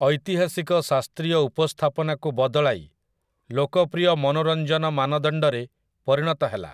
ଐତିହାସିକ ଶାସ୍ତ୍ରୀୟ ଉପସ୍ଥାପନାକୁ ବଦଳାଇ ଲୋକପ୍ରିୟ ମନୋରଞ୍ଜନ ମାନଦଣ୍ଡ ରେ ପରିଣତ ହେଲା ।